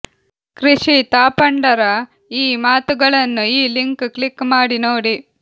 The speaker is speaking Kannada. ಕೃಷಿ ತಾಪಂಡರ ಈ ಮಾತುಗಳನ್ನು ಈ ಲಿಂಕ್ ಕ್ಲಿಕ್ ಮಾಡಿ ನೋಡಿ